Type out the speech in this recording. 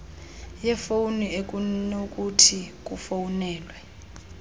yefowuni ekunokuthi kufowunelwe